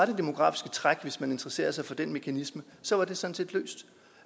det demografiske træk hvis man interesserer sig for den mekanisme sådan set løst